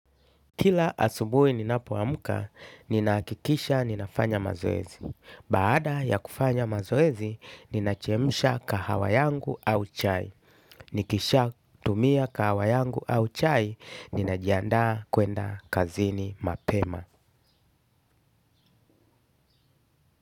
Kila asubuhi ninapo amka, ninahakikisha ninafanya mazoezi. Baada ya kufanya mazoezi, ninachemsha kahawa yangu au chai. Nikisha tumia kahawa yangu au chai ninajiandaa kwenda kazini mapema.